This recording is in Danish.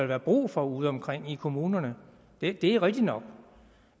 være brug for udeomkring i kommunerne det er rigtigt nok